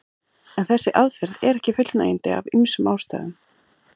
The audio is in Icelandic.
En þessi aðferð er ekki fullnægjandi af ýmsum ástæðum.